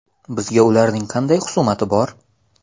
Bizga ularning qanday xusumati bor?